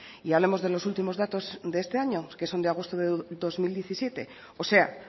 y hablemos de los últimos datos de este año que son de agosto de dos mil diecisiete o sea